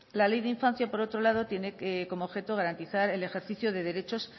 la ley de infancia por otro lado tiene como objeto garantizar el ejercicio de derechos